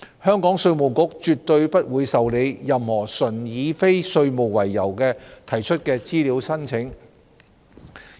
香港稅務局絕對不會受理任何純以非稅務為由提出的資料請求。